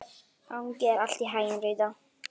Gangi þér allt í haginn, Rita.